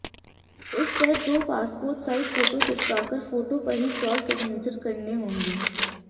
इस पर दो पासपोर्ट साइज फोटो चिपका कर फोटो पर ही क्रॉस सिग्नेचर करने होंगे